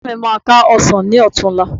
Ẹ̀gbọ́n mi máa ká ọsàn ní ọ̀tunla